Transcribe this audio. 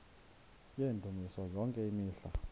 yendumiso yonke imihla